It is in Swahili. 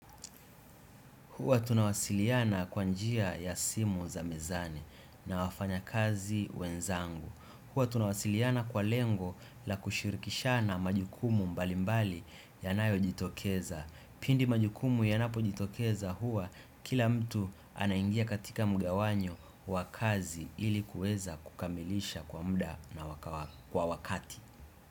Huwa tunawasiliana kwa njia ya simu za mezani na wafanya kazi wenzangu. Huwa tunawasiliana kwa lengo la kushirikishana majukumu mbalimbali yanayojitokeza. Pindi majukumu yanapojitokeza huwa kila mtu anaingia katika mgawanyo wa kazi ili kuweza kukamilisha kwa muda na kwa wakati.